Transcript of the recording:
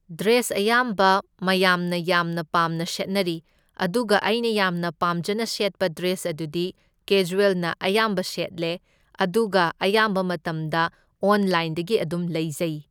Dress ꯑꯌꯥꯝꯕ ꯃꯌꯥꯝꯅ ꯌꯥꯝꯅ ꯄꯥꯝꯅ ꯁꯦꯠꯅꯔꯤ, ꯑꯗꯨꯒ ꯑꯩꯅ ꯌꯥꯝꯅ ꯄꯥꯝꯖꯅ ꯁꯦꯠꯄ ꯗ꯭ꯔꯦꯁ ꯑꯗꯨꯗꯤ ꯀꯦꯖ꯭ꯋꯦꯜꯅ ꯑꯌꯥꯝꯕ ꯁꯦꯠꯂꯦ ꯑꯗꯨꯒ ꯑꯌꯥꯝꯕ ꯃꯇꯝꯗ ꯑꯣꯟꯂꯥꯏꯟꯗꯒꯤ ꯑꯗꯨꯝ ꯂꯩꯖꯩ꯫